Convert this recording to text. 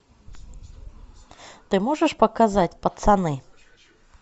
ты можешь показать пацаны